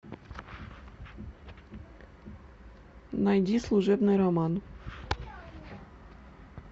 найди служебный роман